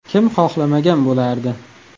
Kim xohlamagan bo‘lardi?